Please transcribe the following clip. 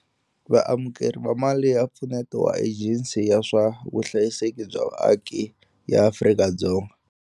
Vaamukeri va mali ya mpfuneto wa Ejensi ya swa Vuhlayiseki bya Vaaki ya Afrika-Dzonga.